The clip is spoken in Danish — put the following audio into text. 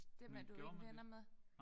Dem er du ikke venner med